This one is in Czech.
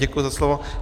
Děkuji za slovo.